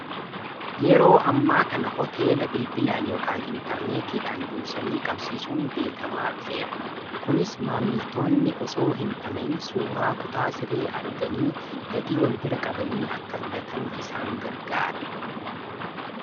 Yeroo ammaa kana hoteela bilbilaan yoo kan intarneetiidhaan dursanii qabsiisuun beekamaa dhufeera. Kunis maamiltoonni osoo hin dhama'iin suuraa kutaa siree arganii gatii wal bira qabanii akka filatan isaan gargaara.